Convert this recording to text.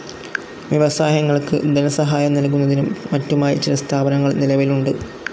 വ്യവസായങ്ങൾക്ക് ധനസഹായം നൽകുന്നതിനും മറ്റുമായി ചില സ്ഥാപനങ്ങൾ നിലവിലുണ്ട്.